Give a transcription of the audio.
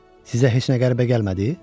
Sizə heç nə qəribə gəlmədi?